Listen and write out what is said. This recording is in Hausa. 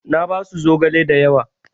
Na basu zogale da yawa.